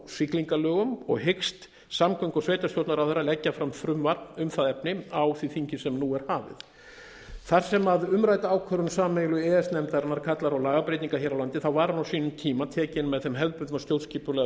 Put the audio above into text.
siglingalögum og hyggst samgöngu og sveitarstjórnarráðherra leggja fram frumvarp um það efni á því þingi sem nú er hafið þar sem umrædd ákvörðun sameiginlegu e e s nefndarinnar kallar á lagabreytingar hér á landi var hún á sínum tíma tekin með þeim hefðbundna stjórnskipulega fyrirvara